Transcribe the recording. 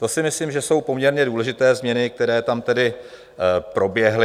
To si myslím, že jsou poměrně důležité změny, které tam tedy proběhly.